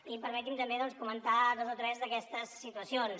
i permeti’m també comentar dos o tres d’aquestes situacions